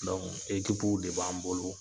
ekipuw de b'an bolo.